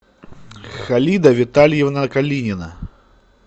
халида витальевна калинина